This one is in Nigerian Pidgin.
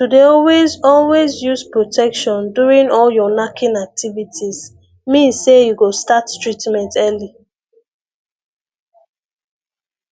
to dey always always use protection during all your knacking activities means say you go start treatment early